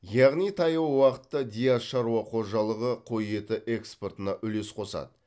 яғни таяу уақытта диас шаруа қожалығы қой еті экспортына үлес қосады